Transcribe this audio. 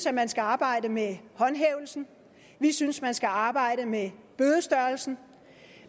at man skal arbejde med håndhævelsen vi synes man skal arbejde med bødestørrelsen